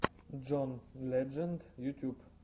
джон ледженд ютуб